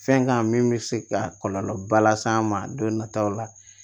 Fɛn kan min bɛ se ka kɔlɔlɔba lase an ma don nataw la